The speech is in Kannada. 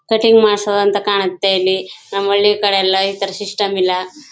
ಕಟಿಂಗ್ ಮಾಡ್ಸೋದು ಅಂತ ಕಾಣುತ್ತೆ ಇಲ್ಲಿ ನಮ್ಮ ಹಳ್ಳಿ ಕಡೆ ಎಲ್ಲ ಇತರ ಸಿಸ್ಟಮ್ ಇಲ್ಲ.